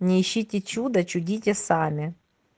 не ищите чуда чудите сами